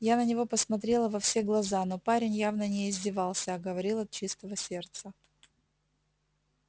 я на него посмотрела во все глаза но парень явно не издевался а говорил от чистого сердца